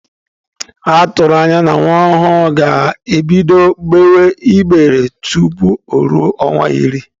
Atụrụ anya na nwa ọhụrụ ga-ebido gbewe igbe tupu o ruo ọnwa iri.